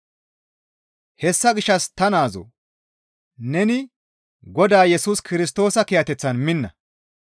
Hessa gishshas ta naazoo neni Godaa Yesus Kirstoosa kiyateththan minna.